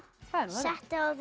settu á þig